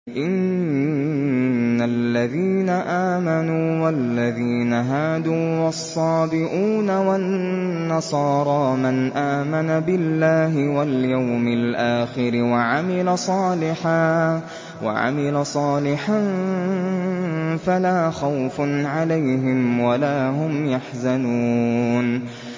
إِنَّ الَّذِينَ آمَنُوا وَالَّذِينَ هَادُوا وَالصَّابِئُونَ وَالنَّصَارَىٰ مَنْ آمَنَ بِاللَّهِ وَالْيَوْمِ الْآخِرِ وَعَمِلَ صَالِحًا فَلَا خَوْفٌ عَلَيْهِمْ وَلَا هُمْ يَحْزَنُونَ